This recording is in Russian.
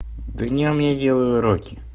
днём я делаю уроки